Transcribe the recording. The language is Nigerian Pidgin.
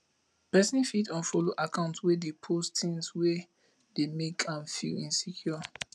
person fit unfollow accounts wey dey post things wey dey make am feel insecure